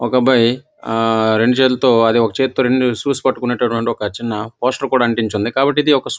ఒక అబ్బాయి ఆ రెండు చేతులతో అదే ఒక చేత్తో రెండు షూస్ పట్టుకున్నట్లు రెండు చిన్న ఒక పోస్టర్ కూడా అంటించి వుంది కాబ్బటి ఇది ఒక --